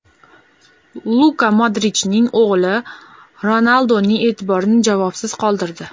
Luka Modrichning o‘g‘li Ronalduning e’tiborini javobsiz qoldirdi .